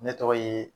Ne tɔgɔ ye